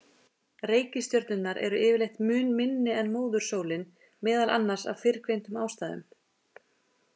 Reikistjörnurnar eru yfirleitt mun minni en móðursólin, meðal annars af fyrrgreindum ástæðum.